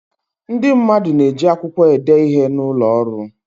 Ndị mmadụ na-eji akwụkwọ ede ihe n'ụlọ ọrụ.